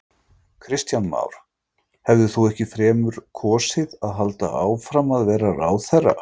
Kristján Már: Hefðir þú ekki fremur kosið að halda áfram að vera ráðherra?